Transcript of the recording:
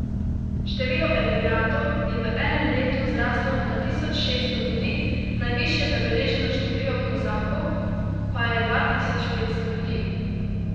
Število emigrantov je v enem letu zraslo na tisoč šesto ljudi, najvišje zabeleženo število kozakov pa je dva tisoč petsto ljudi.